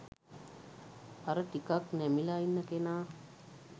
අර ටිකක් නැමිලා ඉන්න කෙනා